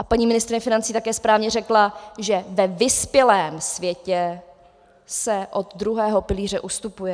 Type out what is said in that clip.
A paní ministryně financí také správně řekla, že ve vyspělém světě se od druhého pilíře ustupuje.